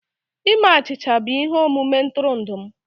Ime achịcha bụ ihe omume ntụrụndụ m